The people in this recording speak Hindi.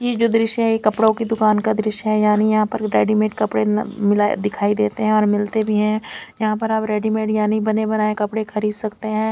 ये जो ध्रिशय है ये कपड़ो की दुकान का द्श्य है यानि यहा पर रेडिमेंट कपड़े मिलाये दिखाई देते है और मिलते भी है यहा पर रेडिमेंट यानी बने बनाये कपड़े खरीद सकते है।